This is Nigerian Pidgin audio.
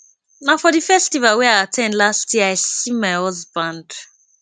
na for the festival wey i at ten d last year i see my husband